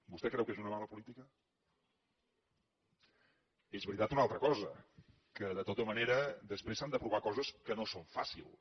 vostè creu que és una mala política és veritat una altra cosa que de tota manera després s’han d’aprovar coses que no són fàcils